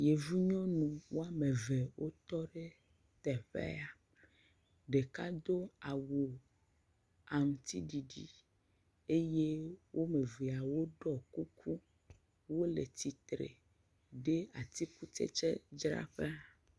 Yevu nyɔnu woame ve wotɔ ɖe teƒea. Ɖeka do awu aŋutiɖiɖi eye woame vea woɖɔ kuku. Wole tsitre ɖe atikutsetsedzraƒea.